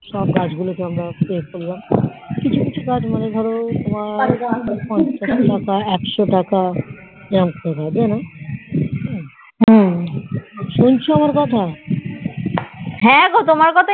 সব গাছ গুলো কে আমরা এ করলাম কিছু কিছু গাছ মানে ধরো মানে পঞ্চাশ টাকা একশো টাকা এরকম দাম যেন সুঁচ আমার কথা